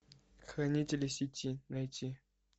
хранители сети найти